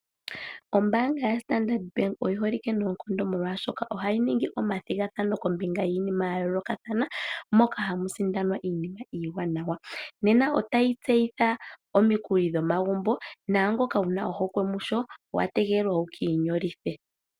Ombaanga ya standard bank oyi holike noonkondo molwaashoka ohayi ningi omathigathano kombinga yiinima yayoolokathana moka hamu sindanwa iinima iiwanawa. Nena otayi tseyitha omikuli dhomagumbo , naangoka wuna ohokwe musho owategelelwa wukiinyolithe.